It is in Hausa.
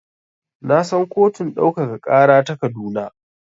Na san kotun ɗaukaka ƙara ta Kaduna.